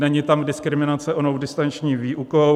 Není tam diskriminace onou distanční výukou.